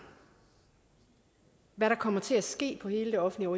hvad der kommer til at ske på hele det offentlige